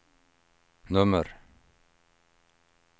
nummer